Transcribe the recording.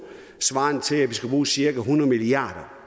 svarende til at vi skal bruge cirka hundrede milliarder